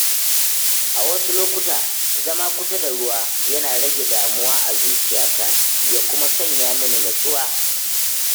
A wasu lokuta, zama kusa da ruwa yana rage damuwa a zuciyata ya kuma sanya mini nutsuwa.